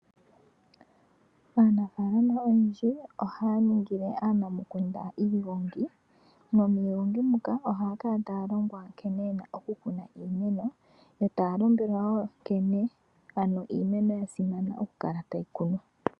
Aanafalama oyendji ohaya ningile aanamukunda iigongi nomiigongi muka ohaa kala taa longwa nkene yena okukuna iimeno. etaa lombwelwa woo nkene ano iimeno yasimana okukala tayi kunwa.